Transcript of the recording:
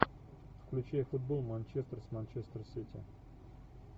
включай футбол манчестер с манчестер сити